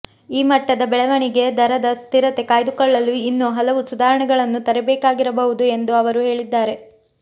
ಈ ಮಟ್ಟದ ಬೆಳವಣಿಗೆ ದರದ ಸ್ಥಿರತೆ ಕಾಯ್ದುಕೊಳ್ಳಲು ಇನ್ನೂ ಹಲವು ಸುಧಾರಣೆಗಳನ್ನು ತರಬೇಕಾಗಿಬರಬಹುದು ಎಂದು ಅವರು ಹೇಳಿದ್ದಾರೆ